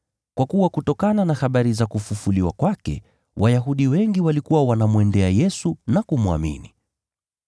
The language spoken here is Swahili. kwa kuwa kutokana na habari za kufufuliwa kwake Wayahudi wengi walikuwa wanamwendea Yesu na kumwamini.